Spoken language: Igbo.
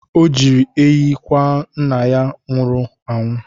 O jiri ehi kwa nna ya nwụrụ anwụ.